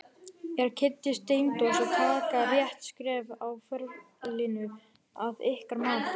Er Kiddi Steindórs að taka rétt skref á ferlinum að ykkar mati?